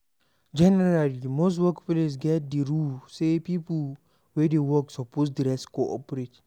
Generally most workplace get di rule sey pipo wey dey work suppose dress corprate